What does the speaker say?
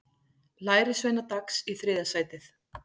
Lærisveinar Dags í þriðja sætið